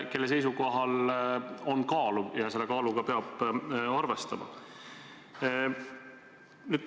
Tema seisukohal on kaalu ja selle kaaluga peab arvestama.